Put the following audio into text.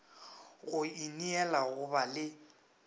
go ineela go ba le